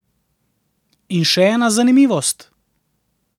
In še ena zanimivost.